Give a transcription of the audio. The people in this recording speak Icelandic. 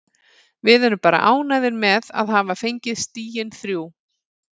Við erum bara ánægðir með að hafa fengið stigin þrjú.